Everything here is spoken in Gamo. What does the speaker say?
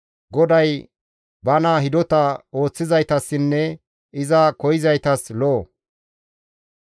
GODAY bana hidota ooththizaytassinne iza koyzaytas lo7o.